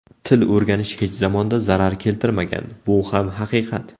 Til o‘rganish hech zamonda zarar keltirmagan, bu ham haqiqat.